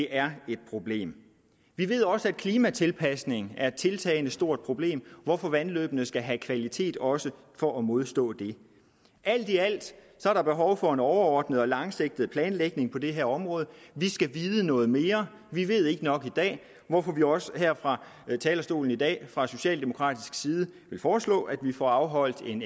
er et problem vi ved også at klimatilpasning er et tiltagende stort problem hvorfor vandløbene skal have kvalitet også for at modstå det alt i alt er der behov for en overordnet og langsigtet planlægning på det her område vi skal vide noget mere vi ved ikke nok i dag hvorfor vi også her fra talerstolen i dag fra socialdemokratisk side vil foreslå at vi får afholdt en